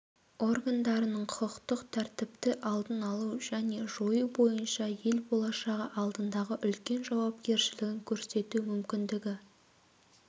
органдарының құқықтық тәртіпті алдын алу және жою бойынша ел болашағы алдындағы үлкен жауапкершілігін көрсету мүмкіндігі